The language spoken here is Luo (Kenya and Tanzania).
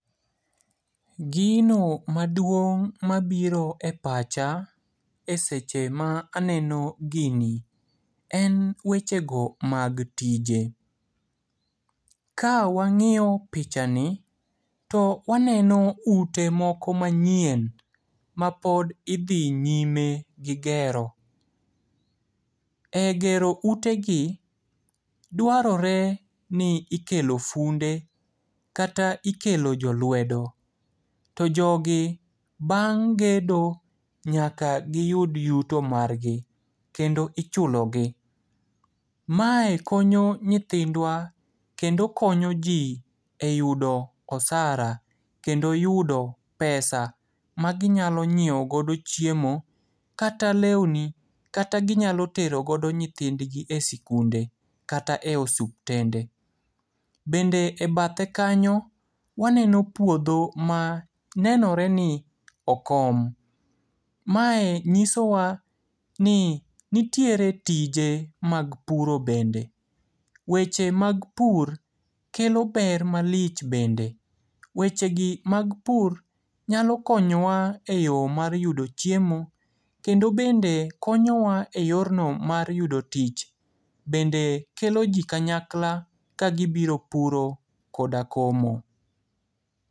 Gino maduong' mabiro e pacha, e seche ma aneno gini, en wechego mag tije. Ka wang'iyo pichani, to waneno ute moko manyien, mapod idhi nyime gi gero. E gero utegi, dwarore ni ikelo funde, kata ikelo jolwedo. To jogi bang' gedo nyaka giyud yuto margi, kendo ichulogi. Mae konyo nyithindwa, kendo konyo ji e yudo osara, kendo yudo pesa maginyalo ng'ieo godo chiemo, kata leuni, kata ginyalo tero godo nyithindgi e sikunde, kata e osuptende. Bende e badhe kanyo, waneno puodho ma nenoreni okom. Mae nyisowa ni nitiere tije mag puro bende. Weche mag pur kelo ber malich bende. Wechegi mag pur nyalo konyowa e yo mar yudo chiemo, kendo bende konyowa e yorno mara yudo tich. Bende kelo ji kanyakla ka gibiro puro koda komo.